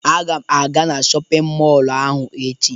Aga m aga na shọpịn mọlụ ahụ echo.